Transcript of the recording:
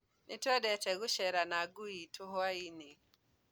Nĩtũendete gũcera na ngui itũ hwainĩ